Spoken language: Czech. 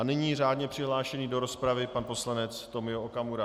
A nyní řádně přihlášený do rozpravy pan poslanec Tomio Okamura.